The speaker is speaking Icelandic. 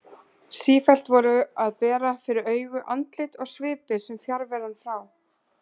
Sífellt voru að bera fyrir augu andlit og svipir sem fjarveran frá